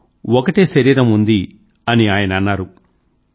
కానీ ఒకటే శరీరం ఉంది అని ఆయన అన్నారు